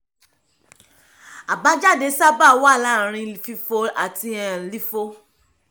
àbájáde sábà wà láàárín fifo àti um lifo